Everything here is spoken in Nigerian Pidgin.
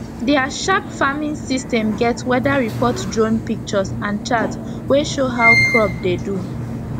their sharp farming system get weather report drone pictures and chart wey show how crop dey do